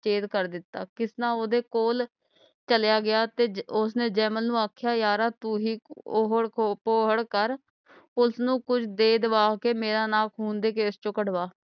ਕਰ ਦਿਤਾ ਕਿਸਨਾ ਓਹਦੇ ਕੋਲ ਚਲਿਆ ਗਿਆ ਤੇ ਉਸਨੇ ਜੈਮਲ ਨੂੰ ਆਖਿਆ ਯਾਰਾ ਤੂੰ ਹੀ ਓਹੜ ਕੋਹੜ ਕਰ police ਨੂੰ ਕੁਛ ਦੇ ਦਵਾ ਕੇ ਮੇਰਾ ਨਾਂ ਖੂਨ ਦੇ case ਚੋ ਕਢਵਾ